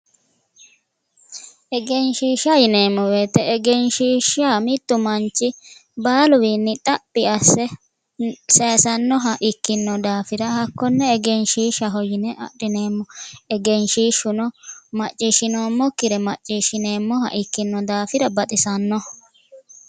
Egenshiishsha yineemo woyiite egenshiisha mittu manchi baaluwiinni xaphi asse sayisannoha ikkino daafira hakkonne egenshiishaho yine adhineemo egenshiishuno macishinomokkire macishinemmoha ikkino daafira baxisanno